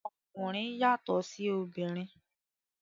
Okunrin yàtọ sí òbinrín.